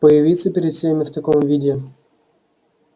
появиться перед всеми в таком виде